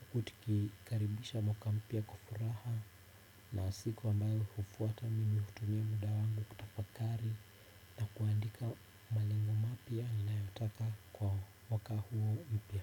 huku tukikaribisha mwaka mpya kwa furaha na siku ambayo hufuata mimi hutumia muda wangu kutafakari na kuandika malengo mapya ninayotaka kwa mwaka huo mpya.